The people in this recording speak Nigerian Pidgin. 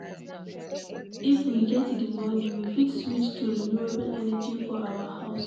If we get di money, we fit switch to renewable energy for our house